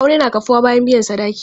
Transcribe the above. Aure na kafuwa bayan biyan sadaki.